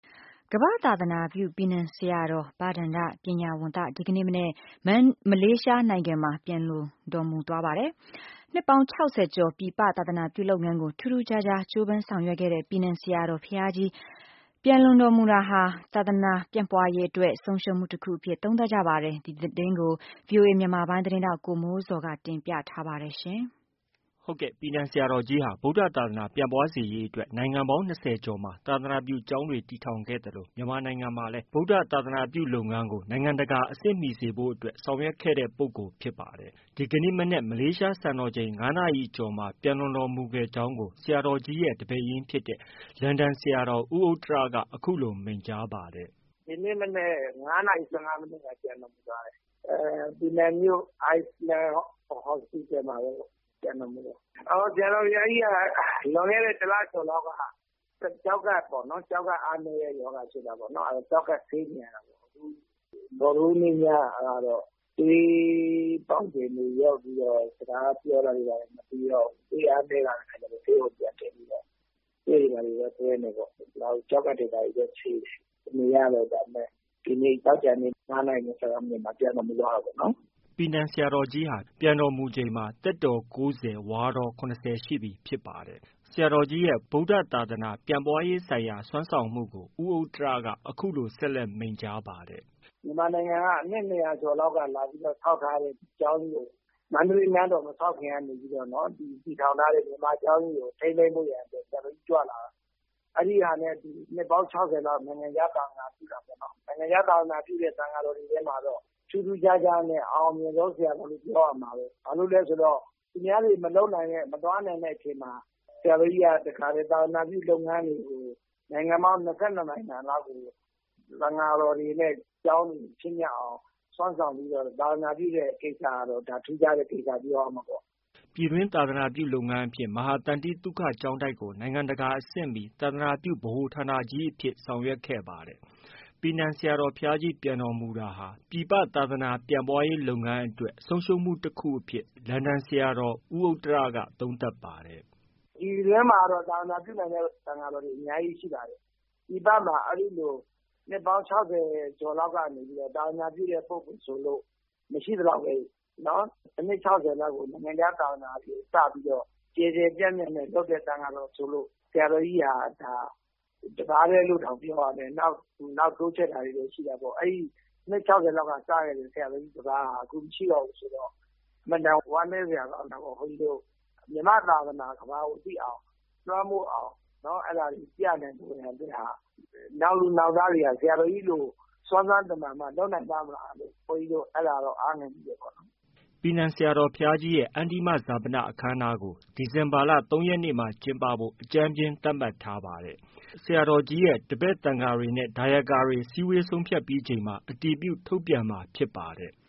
ကမ္ဘာ့သာသနာပြု ပီနန်ဆရာတော် ဘဒ္ဒန ္တပညာဝံသ ဒီကနေ့ မနက်မှာ မလေးရှားနိုင်ငံမှာ ပျံလွန်တော်မူခဲ့ပါတယ်။ နှစ်ပေါင်း ၆၀ကျော် ပြည်ပသာသနာပြုလုပ်ငန်းကို ထူးထူးခြားခြား ကြိုးပမ်းဆောင်ရွက်ခဲ့တဲ့ ပီနန်ဆရာတော်ဘုရားကြီးပျံတော်မူတာဟာ သာသနာပြန့်ပွားရေးအတွက် ဆုံးရှုံးမှုတခုအဖြစ် သုံးသပ်ပါတယ်။ ဒီသတင်းကို ဗွီအိုအေမြန်မာပိုင်းရဲ့သတင်းထောက် ကိုမိုးဇော်က တင်ပြထားပါတယ်။ ပီနန်ဆရာတော်ကြီးဟာ ဗုဒ္ဓသာသနာပြန့်ပွားစေရေးအတွက် နိုင်ငံပေါင်း ၂၀ကျော်မှာ သာသနာပြုကျောင်းတွေ တည်ထောင်ခဲ့သလို မြန်မာနိုင်ငံမှာလည်း ဗုဒ္ဓဘာသာ သာသနာပြုလုပ်ငန်းကို နိုင်ငံတကာ အဆင့်မီစေဖို့အတွက် ဆောင်ရွက်ခဲ့တဲ့ ပုဂ္ဂိုလ်ဖြစ်ပါတယ်။ ဒီကနေ့မနက် မလေးရှားစံတော်ချိန် ၅နာရီကျော်မှာ ပျံလွန်တော်မူကြောင်းကို ဆရာတော်ကြီးရဲ့ တပည့်ရင်းဖြစ်တဲ့ လန်ဒန်ဆရာတော် ဦးဥတ္တရက အခုလို မိန့်ကြားပါတယ်။ “ ဒီနေ့ မနက် ၅နာရီ ၁၅မိနစ်မှာ ပျံတော်မူသွားတာ။ ပီနန်မြို့ Island Hospital မှာပဲ ပျံတော်မူတယ်။ ဆရာတော်ဘုရားကြီးက လွန်ခဲ့တဲ့ ၁လကျော်လောက်က ကျောက်ကပ် အားနည်းတဲ့ရောဂါဖြစ်နေတာပေါ့။ ကျောက်ကပ်ဆေးနေရတာပေါ့။ ဗုဒ္ဓဟူးနေ့ညကတော့ သွေးပေါင်ချိန်တွေ လျော့ပြီးတော့ စကားပြောတာတွေ ဘာတွေ မပီတော့ဘူး။ သွေးအားနည်းလာတဲ့အခါကျတော့ ဆေးရုံပြန်တင်ပြီးတော့ သွေးတွေ ဘာတွေလည်း သွင်းတယ်။ ကျောက်ကပ်တွေ ဘာတွေလည်း ဆေးတယ်။ မရတော့တာနဲ့ သောကြာနေ့ မနက် ၅နာရီ ၁၅မိနစ်မှာ ပျံတော်မူသွားတာပေါ့။” ပီနန်ဆရာတော်ကြီးဟာ ပျံတော်မူချိန်မှာ သက်တော်၉၀၊ ဝါတော်၇၀ရှိပြီ ဖြစ်ပါတယ်။ ဆရာတော်ကြီးရဲ့ ဗုဒ္ဓဘာသာ သာသနာပြန့်ပွားရေးဆိုင်ရာ စွမ်းဆောင်မှုကို ဦးဥတ္တရက အခုလို ဆက်လက် မိန့်ကြားပါတယ်။ “ မြန်မာနိုင်ငံက နှစ် ၂၀၀ကျော်လောက်က လာပြီးတော့ ဆောက်ထားတဲ့ ကျောင်းကြီးကို မန္တလေးနန်းတော် မဆောက်ခင်က တည်ထောင်ထားတဲ့ကျောင်းကြီးကို ထိန်းသိမ်းဖို့ရာအတွက် ဆရာတော်ကြီးကြွလာတာ။ အဲဒီဟာနဲ့အတူ နှစ်ပေါင်း၆၀ကျော်လောက် နိုင်ငံခြားသာသနာပြုတာပေါ့နော်။ နိုင်ငံခြားသာသနာပြုတဲ့ သံဃာတော်တွေထဲမှာတော့ ထူးထူးခြားခြားနဲ့ အအောင်မြင်ဆုံးဆရာတော်လို့ ပြောရမှာဘဲ။ ဘာလို့လဲဆိုတော့ သူများတွေ မလုပ်နိုင်တဲ့ မသွားနိုင်တဲ့အချိန်မှာ ဆရာတော်ကြီးက သာသနာပြုလုပ်ငန်းတွေကို နိုင်ငံပေါင်း ၂၂နိုင်ငံလောက်ကို သံဃာတော်တွေနဲ့ ကျောင်းတွေ ဖြစ်မြောက်အောင် စွမ်းဆောင်ပြီးတော့ သာသနာပြုတဲ့ ကိစ္စကတော့ထူးခြားတဲ့ ကိစ္စလို့ ပြောရမှာပေါ့။ ” ပြည်တွင်းသာသနာပြုလုပ်ငန်းအဖြစ် မဟာသန္တိသုခကျောင်းတိုက်ကို နိုင်ငံတကာအဆင့်မီ သာသနာပြု ဗဟိုဌာနကြီးဖြစ်အောင် ဆောင်ရွက်ခဲ့ပါတယ်။ ပီနန်ဆရာတော်ဘုရားကြီးပျံတော်မူတာဟာ ပြည်ပ သာသနာပြန့်ပွားရေးလုပ်ငန်းအတွက် ဆုံးရှုံးမှုတခုအဖြစ် လန်ဒန်ဆရာတော် ဦးဥတ္တရက သုံးသပ်ပါတယ်။ “ ပြည်တွင်းမှာတော့ သာသနာပြုနိုင်တဲ့ သံဃာတော်တွေအများကြီးရှိပါတယ်။ ပြည်ပမှာ အဲဒီလို နှစ်ပေါင်း ၆၀ကျော်လောက်ကနေ သာသနာပြုတဲ့ ပုဂ္ဂိုလ်ဆိုလို့ မရှိသလောက်ပဲ။ အနှစ်၆၀လောက်ကို နိုင်ငံခြားသာသနာစပြီးတော့ ကျယ်ကျယ်ပြန့်ပြန့်နဲ့ လုပ်တဲ့ သံဃာတော် ဆိုလို့ ဆရာတော်ကြီးဟာ ၁ပါးတည်းလို့တောင် ပြောရမယ်။ နောက် တိုးချဲ့တာတွေတော့ ရှိတာပေါ့။ နှစ်၆၀လောက်က စခဲ့တဲ့ ၁ပါးဟာ ခု မရှိတော့ဘူးဆိုတော့ အင်မတန် ဝမ်းနည်းစရာကောင်းတာပေါ့။ ဘုန်းကြီးတို့ မြန်မာ့သာသနာ ကမ္ဘာကို သိအောင်၊ လွှမ်းမိုးအောင် အဲဒါတွေ ပြန့်နိုင်ဖို့ရာအတွက်ဟာ နောက်လာနောက် သားတွေက ဆရာတော်ကြီးလို စွမ်းစွမ်းတမံမှ လုပ်နိုင်ပါ့မလားလို့ ဘုန်းကြီးတို့ အဲဒါတော့ အားငယ်မိတယ်ပေါ့။” ပီနန်ဆရာတော်ဘုရားကြီးရဲ့ အန္တိမဈာပနအခမ်းအနားကို ဒီဇင်ဘာလ ၃ရက်နေ့မှာကျင်းပဖို့ အကြမ်းဖျဉ်းသတ်မှတ်ထားပါတယ်။ ဆရာတော်ကြီးရဲ့ တပည့်သံဃာတွေနဲ့ ဒါယကာတွေ စည်းဝေးဆုံးဖြတ်ပြီးချိန်မှာ အတည်ပြုထုတ်ပြန်မှာ ဖြစ်ပါတယ်။